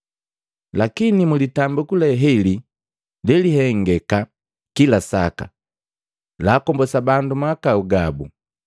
Lakini mu litambiku le heli lelihengeka kila saka laakombosa bandu mahakau gabu.